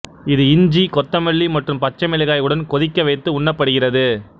இது இஞ்சி கொத்தமல்லி மற்றும் பச்சை மிளகாய் உடன் கொதிக்க வைத்து உண்ணப்படுகிறது